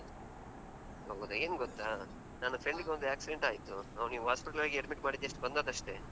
ಹೌದಾ, ಏನು ಗೊತ್ತಾ? ನನ್ನ friend ಗೆ ಒಂದು accident ಆಯ್ತು ಅವ್ನಿಗೆ hospital admit ಮಾಡಿ just ಬಂದದ್ದಷ್ಟೇ.